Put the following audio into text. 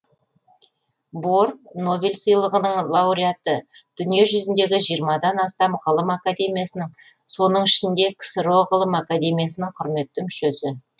бор нобель сыйлығының лауреаты дүние жүзіндегі жиырмадан астам ғылым академиясының соның ішінде ксро ғылым академиясының құрметті мүшесі